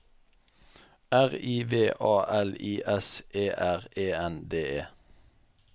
R I V A L I S E R E N D E